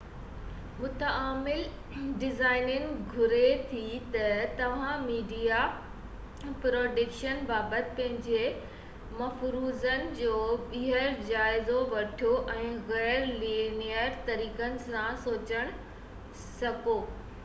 متعامل design گهري ٿي ته توهان ميڊيا پروڊڪشن بابت پنهنجي مفروضن جو ٻيهر جائزو وٺو ۽ غير-لينيئر طريقن سان سوچڻ سکو